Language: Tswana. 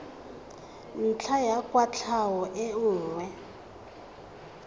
ntlha ya kwatlhao e nngwe